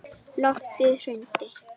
Loftið hrundi.